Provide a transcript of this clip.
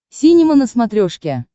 синема на смотрешке